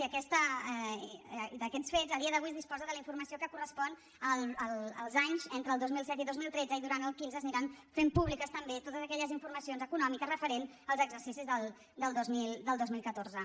i d’aquests fets a dia d’avui es disposa de la informació que correspon als anys entre el dos mil set i dos mil tretze i durant el quinze s’aniran fent públiques també totes aquelles informacions econòmiques referents als exercicis del dos mil catorze